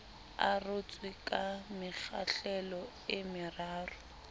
arotswe ka mekgahlelo e meraro